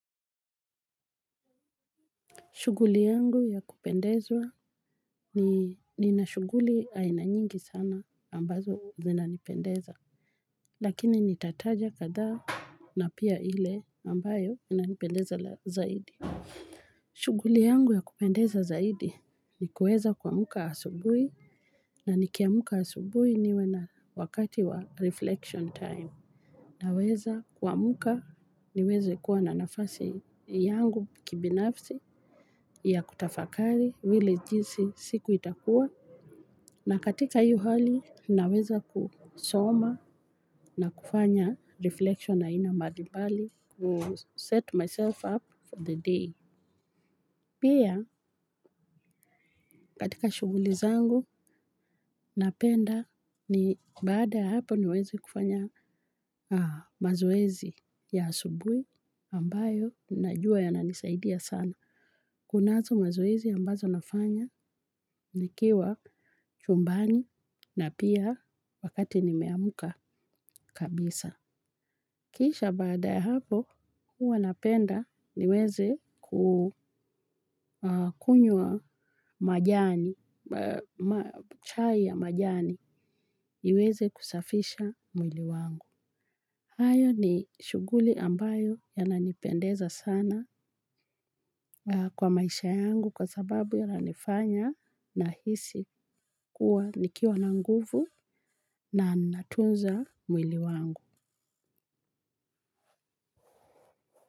Shughuli yangu ya kupendezwa ni nina shughuli aina nyingi sana ambazo zinanipendeza. Lakini nitataja kadha na pia ile ambayo inanipendeza zaidi. Shughuli yangu ya kupendeza zaidi ni kuweza kuamka asubuhi na nikiamka asubuhi niwe na wakati wa reflection time. Naweza kuamka niweze kuwa na nafasi yangu kibinafsi ya kutafakari vile jinsi siku itakuwa. Na katika hiyo hali naweza kusoma na kufanya reflection aina mbalimbali. Set myself up for the day. Pia katika shughuli zangu napenda ni baada ya hapo niweze kufanya mazoezi ya asubuhi ambayo najua yananisaidia sana. Kunazo mazoezi ambazo nafanya nikiwa chumbani na pia wakati nimeamka kabisa. Kisha baada ya hapo, huwa napenda niweze kukunywa majani, chai ya majani, iweze kusafisha mwili wangu. Hayo ni shughuli ambayo yananipendeza sana kwa maisha yangu kwa sababu yananifanya nahisi kuwa nikiwa na nguvu na natunza mwili wangu.